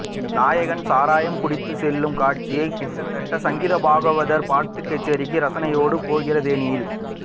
நாயகன் சாராயம் குடிக்க செல்லும் காட்சி கிட்டத்தட்ட சங்கீதபாகவதர் பாட்டுக்கச்சேரிக்கு ரசனையோடு போகிற தொனியில்